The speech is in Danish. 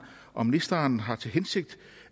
om ministeren har til hensigt